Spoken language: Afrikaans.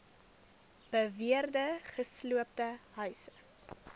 beweerde gesloopte huise